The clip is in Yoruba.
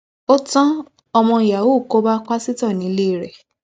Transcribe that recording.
ó tan ọmọ yahoo kó bá pásítọ nìléèrè